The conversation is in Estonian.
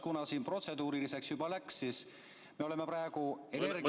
Kuna siin protseduurilisteks juba läks, siis me oleme praegu energia ...